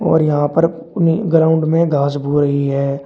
और यहां पर अपनी ग्राउंड में घास रही है।